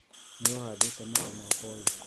Niũhandĩt e mũti mwaka ũyũ?